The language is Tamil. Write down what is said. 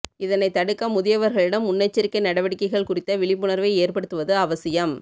இதனை தடுக்க முதியவர்களிடம் முன்னெச்சரிக்கை நடவடிக்கைகள் குறித்த விழிப்புணர்வை ஏற்படுத்துவது அவசியம்